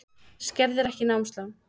Skerðir ekki námslán